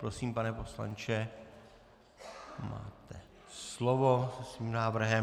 Prosím, pane poslanče, máte slovo se svým návrhem.